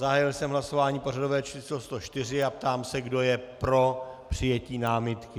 Zahájil jsem hlasování pořadové číslo 104 a ptám se, kdo je pro přijetí námitky.